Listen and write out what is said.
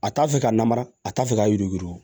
A t'a fɛ ka lamara a t'a fɛ ka yurugu yurugu